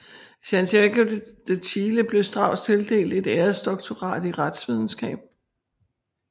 I Santiago de Chile blev Strauß tildelt et æresdoktorat i retsvidenskab